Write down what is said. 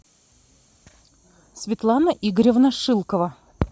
светлана игоревна шилкова